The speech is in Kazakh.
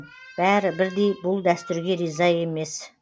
бәрі бірдей бұл дәстүрге риза емес